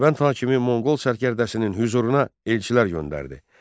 Dərbənd hakimi Monqol sərkərdəsinin hüzuruna elçilər göndərdi.